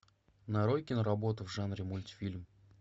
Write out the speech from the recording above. нарой киноработу в жанре мультфильм